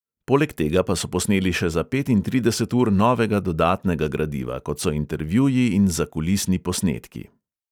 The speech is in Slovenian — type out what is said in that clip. Poleg tega pa so posneli še za petintrideset ur novega dodatnega gradiva, kot so intervjuji in zakulisni posnetki.